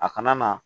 A kana na